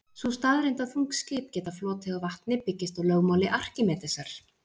Sú staðreynd að þung skip geta flotið á vatni byggist á lögmáli Arkímedesar.